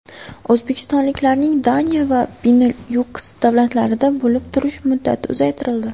O‘zbekistonliklarning Daniya va Benilyuks davlatlarida bo‘lib turish muddati uzaytirildi.